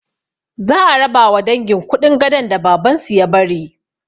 Za a rabawa dangin kuɗin gadon da babansu ya bari